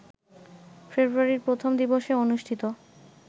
ফেব্রুয়ারির প্রথম দিবসে অনুষ্ঠিত